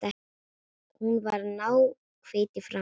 Hún var náhvít í framan.